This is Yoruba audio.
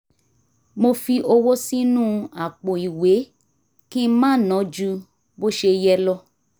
mo fi owó sínú àpò ìwé kí n má ná ju bó ṣe yẹ lọ